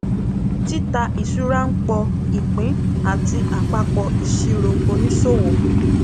títà ìṣúra ń pọ ìpín àti àpapọ ìsirò òníṣòwò